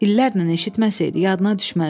İllərlə eşitməsəydi yadına düşməzdi.